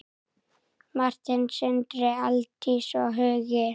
Martin, Sindri, Aldís og Hugi.